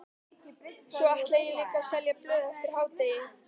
Svo ætla ég líka að selja blöð eftir hádegi.